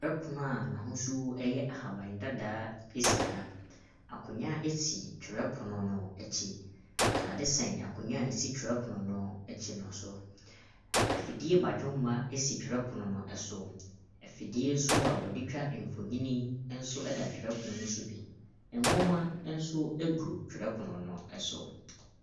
Twerɛpono a n'ahosuo yɛ ahaban dadaa ɛsi ha. Akonwa ɛsi twerɛpono no akyi ataade sɛn akonwa a ɛsi twerɛpono no akyi no so. Afidie badwomma ɛsi twerɛpono no ɛso. Afidie nso a wɔde twa mfonini nso ɛda twerɛpono no so bi. Nwomma nso ɛgu twerɛpono no ɛso.